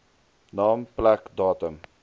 naam plek datum